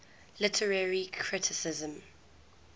literary criticism